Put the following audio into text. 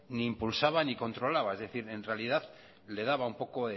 ni impulsaba ni controlaba es decir en realidad le daba un poco